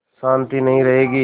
शान्ति नहीं रहेगी